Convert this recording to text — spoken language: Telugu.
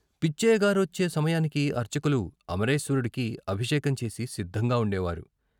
పిచ్చయ్యగారొచ్చే సమయానికి అర్చకులు అమరేశ్వరుడికి అభిషేకం చేసి సిద్ధంగా ఉండేవారు.